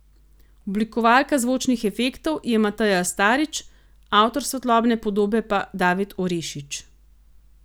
Oblikovalka zvočnih efektov je Mateja Starič, avtor svetlobne podobe pa David Orešič.